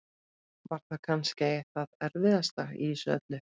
Var það kannski það erfiðasta í þessu öllu?